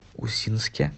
усинске